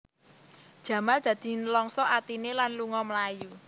Jamal dadi nlangsa atiné lan lunga mlayu